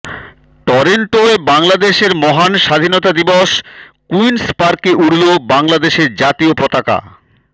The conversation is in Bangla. টরন্টোয় বাংলাদেশের মহান স্বাধীনতা দিবস কুইন্সপার্কে উড়ল বাংলাদেশের জাতীয় পতাকা